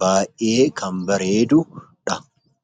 Baay'ee kan bareedudha.